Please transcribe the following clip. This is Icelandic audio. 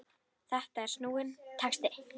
Þetta er snúinn texti.